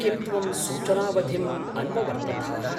किं त्वं सूचनावधिम् अन्ववर्तथाः?